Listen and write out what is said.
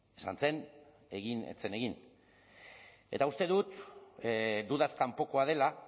ez zen egin eta uste dut dudaz kanpokoa dela